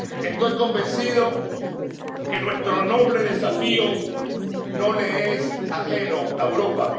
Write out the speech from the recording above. Estoy convencido de que nuestro noble desafío no le es ajeno a Europa.